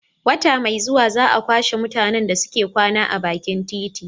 Wata mai zuwa za a kwashe mutanen da suke kwana a bakin titi